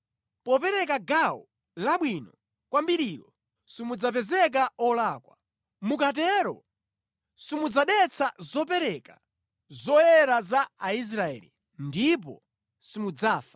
Popereka gawo labwino kwambirilo simudzapezeka olakwa. Mukatero simudzadetsa zopereka zoyera za Aisraeli, ndipo simudzafa.’ ”